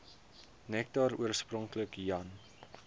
nektar oorspronklik jan